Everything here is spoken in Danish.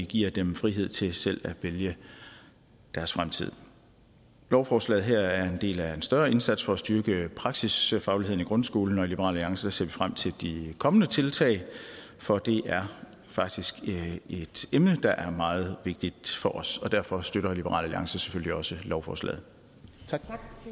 giver dem frihed til selv at vælge deres fremtid lovforslaget her er en del af en større indsats for at styrke praksisfagligheden i grundskolen og i liberal alliance ser vi frem til de kommende tiltag for det er faktisk et emne der er meget vigtigt for os og derfor støtter liberal alliance selvfølgelig også lovforslaget tak